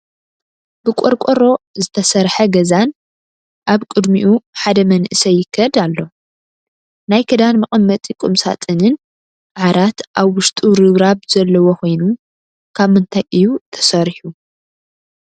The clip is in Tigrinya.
ብቆርቆሮ ዝተሰረሐ ገዛን ኣብ ቅዲሚኡ ሓደ መንእሰይ ይከድ ኣሎ። ናይ ክዳን መቀመጢ ቁም ሳጥንን ዓራት ኣብ ውሽጡ ርብራብ ዘለዎ ኮይኑ ካብ ምንታይ እዩ ተሰሪሑ?